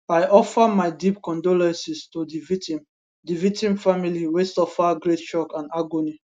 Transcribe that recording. i offer my deep condolences to di victim di victim family wey suffer great shock and agony